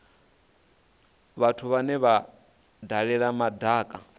vhathu vhane vha dalela madaka